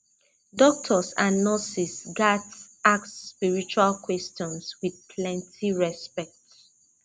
doctors and nurses gats ask spiritual questions with plenty respect